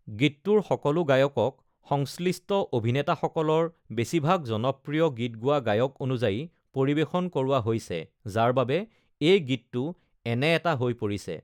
গীতটোৰ সকলো গায়কক সংশ্লিষ্ট অভিনেতাসকলৰ বেছিভাগ জনপ্ৰিয় গীত গোৱা গায়ক অনুযায়ী পৰিৱেশন কৰোৱা হৈছে, যাৰ বাবে এই গীতটো এনে এটা হৈ পৰিছে।